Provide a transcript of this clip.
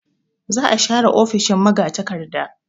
Za a share ofishin magatakarda.